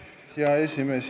Hea esimees!